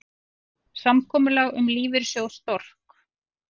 Samkomulag um lífeyrissjóð Stork